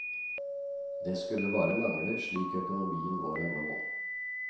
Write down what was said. Det skulle bare mangle, slik økonomien vår er nå.